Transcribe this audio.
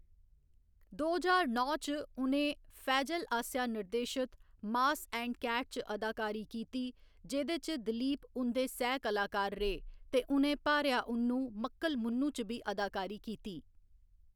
दो ज्हार नौ च, उ'नें फैजल आसेआ निर्देशत मास एंड कैट च अदाकारी कीती, जेह्‌‌‌दे च दिलीप उं'दे सैह् कलाकार रेह् ते उ'नें भार्या उन्नु मक्कल मुन्नु च बी अदाकारी कीती।